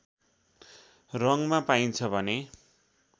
रङमा पाइन्छ भने